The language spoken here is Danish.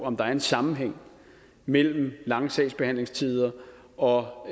om der er en sammenhæng mellem lange sagsbehandlingstider og